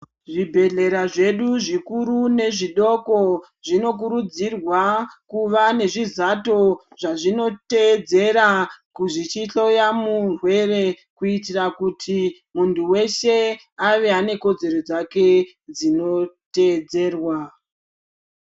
Zvibhedhlera zvedu zvikuru nezvidoko zvinokurudzirwa kuva nezvizato zvazvinoteedzera zvichihloya murwere. Kuitira kuti muntu weshe ave anekodzero dzake dzinoteedzerwa.